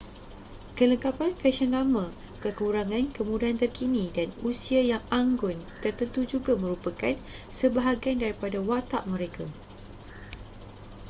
kelengkapan fesyen lama kekurangan kemudahan terkini dan usia yang anggun tertentu juga merupakan sebahagian daripada watak mereka